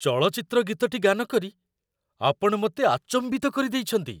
ଚଳଚ୍ଚିତ୍ର ଗୀତଟି ଗାନ କରି ଆପଣ ମୋତେ ଆଚମ୍ବିତ କରିଦେଇଛନ୍ତି!